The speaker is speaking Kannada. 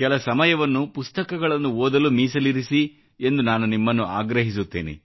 ಕೆಲ ಸಮಯವನ್ನು ಪುಸ್ತಕಗಳನ್ನು ಓದಲು ಮೀಸಲಿರಿಸಿ ಎಂದು ನಾನು ನಿಮ್ಮನ್ನು ಆಗ್ರಹಿಸುತ್ತೇನೆ